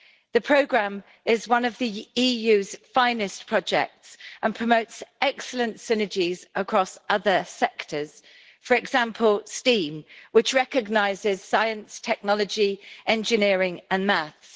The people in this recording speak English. The programme is one of the EU's finest projects and promotes excellent synergies across other sectors for example STEAM, which recognises science, technology, art, engineering and maths.